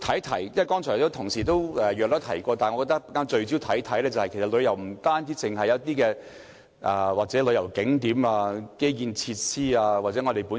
雖然剛才同事已經大概提及，但我想聚焦說說，其實旅遊不單講求旅遊景點、基建設施或天然優勢。